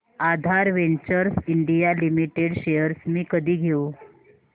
आधार ventures India limited shares मी कधी घेऊ